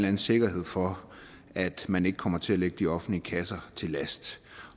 anden sikkerhed for at man ikke kommer til at ligge de offentlige kasser til last